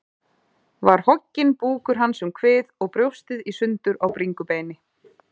Var hogginn búkur hans um kvið og brjóstið í sundur á bringubeini.